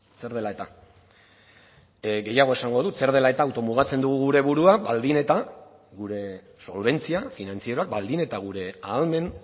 zer dela eta gehiago esango dut zer dela eta auto mugatzen dugu gure burua baldin eta gure solbentzia finantzieroak baldin eta gure ahalmen